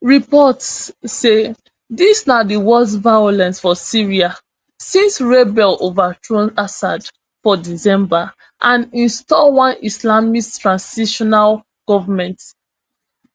reports say dis na di worst violence for syria since rebels overthrow assad for december and install one islamist transitional goment